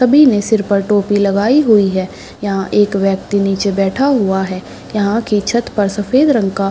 सभी ने सिर पर टोपी लगाई हुए है यहाँ एक व्यक्ति नीचे बैठा हुआ है यहां की छतबपर सफेद रंग का --